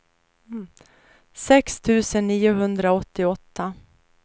sex tusen niohundraåttioåtta